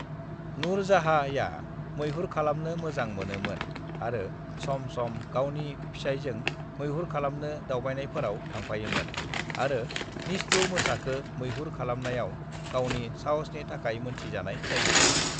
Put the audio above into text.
नूरजहाँआ मैहुर खालामनो मोजां मोनो मोन आरो सम सम गावनि फोसायजों मैहुर खालामनो दावबायनायफोराव थांफायोमोन आरो निस्थुर मोसाखो मैहुर खालामनायाव गावनि साहसनि थाखाय मोनथि जानाय जायो।